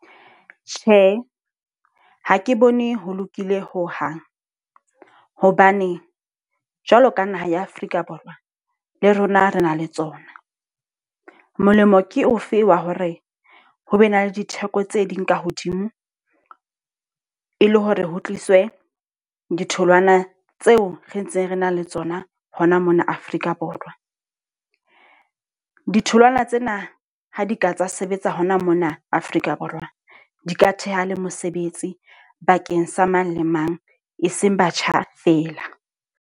Tjhe, ha ke bone ho lokile ho hang. Hobane jwalo ka naha ya Afrika Borwa, le rona re na le tsona. Molemo ke ofe wa hore ho be ne le ditheko tse ding ka hodimo. E le hore ho tliswe ditholwana tseo re ntse re na le tsona hona mona Afrika Borwa. Ditholwana tsena ha di ka tsa sebetsa hona mona Afrika Borwa. Di ka theha le mosebetsi bakeng sa mang le mang e seng batjha fela.